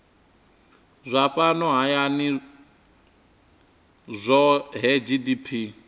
zwa fhano hayani zwohe gdp